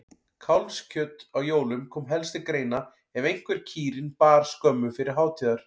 Kálfskjöt á jólum kom helst til greina ef einhver kýrin bar skömmu fyrir hátíðar.